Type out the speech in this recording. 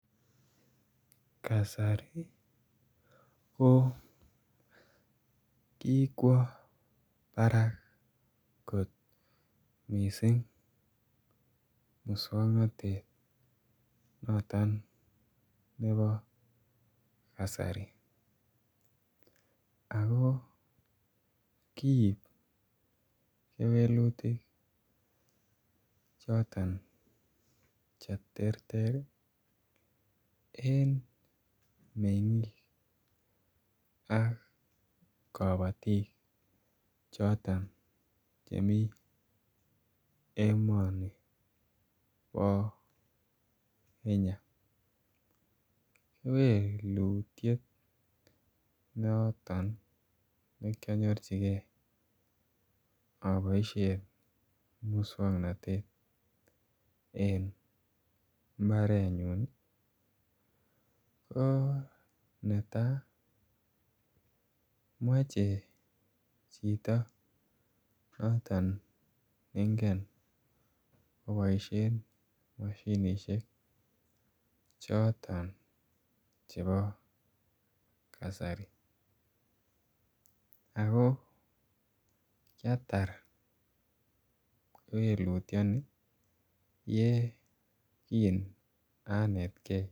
Kasari ko kikwaa Barak koot missing musangnatet noton nebo kasari ako kiib kewelutiik chootoon che terter eng mengiik ak kabatiik chotoon chemii emani bo kenya kewelutiet noton ne kanyoorjigei aboisheen musangnatet eng mbaret nyuun ko netai machei chitoo notoon ne ngeen kobaisheen mashinisheek chotoon chebo kasari ako kiatar kewelutiat ni ye kin anetkei.